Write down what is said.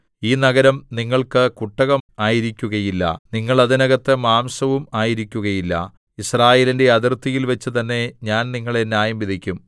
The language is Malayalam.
ഈ നഗരം നിങ്ങൾക്ക് കുട്ടകം ആയിരിക്കുകയില്ല നിങ്ങൾ അതിനകത്ത് മാംസവും ആയിരിക്കുകയില്ല യിസ്രായേലിന്റെ അതിർത്തിയിൽവച്ചു തന്നെ ഞാൻ നിങ്ങളെ ന്യായംവിധിക്കും